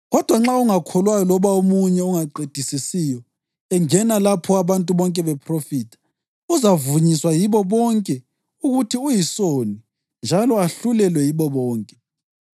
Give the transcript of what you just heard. Kodwa nxa ongakholwayo loba omunye ongaqedisisiyo engena lapho abantu bonke bephrofitha, uzavunyiswa yibo bonke ukuthi uyisoni njalo ahlulelwe yibo bonke,